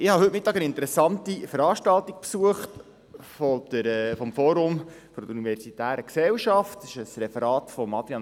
Heute Mittag habe ich eine interessante Veranstaltung des Forums für Universität und Gesellschaft der Universität Bern besucht.